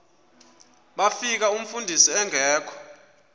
bafika umfundisi engekho